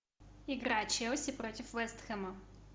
игра челси против вест хэма